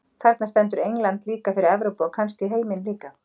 Þarna stendur England líka fyrir Evrópu, og kannski heiminn líka.